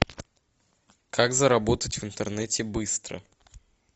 как заработать в интернете быстро